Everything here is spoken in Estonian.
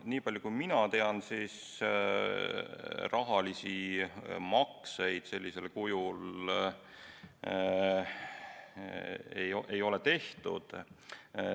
Nii palju kui mina tean, ei ole rahalisi makseid sellisel kujul tehtud.